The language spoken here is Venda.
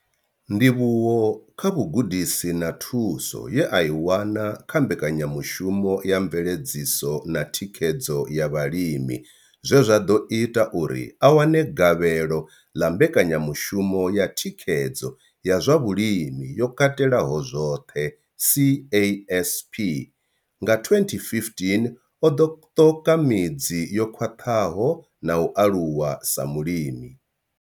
Ndivhuwo kha vhugudisi na thuso ye a i wana kha mbekanyamushumo ya mveledziso na thikhedzo ya vhalimi zwe zwa ḓo ita uri a wane gavhelo ḽa mbekanyamushumo ya thikhedzo ya zwa vhulimi yo katelaho zwoṱhe CASP nga 2015, o kona u ṱoka midzi yo khwaṱhaho na u aluwa sa mulimi.